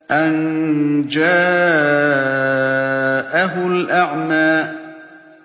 أَن جَاءَهُ الْأَعْمَىٰ